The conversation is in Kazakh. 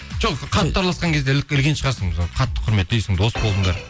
жоқ қатты араласқан кезде ілген шығарсың қатты құрметтейсің дос болдыңдар